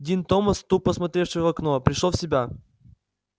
дин томас тупо смотревший в окно пришёл в себя